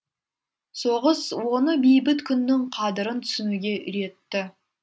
соғыс оны бейбіт күннің қадірін түсінуге үйретті